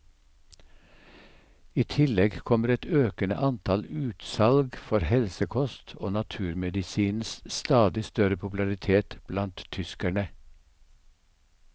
I tillegg kommer et økende antall utsalg for helsekost og naturmedisinens stadig større popularitet blant tyskerne.